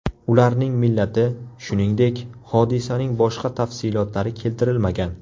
Ularning millati, shuningdek, hodisaning boshqa tafsilotlari keltirilmagan.